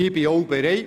Dazu bin ich bereit.